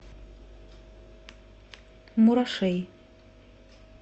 мурашей